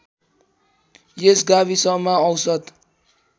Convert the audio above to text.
यस गाविसमा औसत